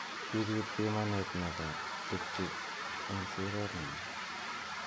Kipit bimanet nebo tukju eng siret nywa.